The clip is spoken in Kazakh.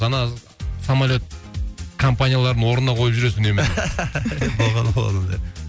ана самолет компанияларын орнына қойып жүресің үнемі дейді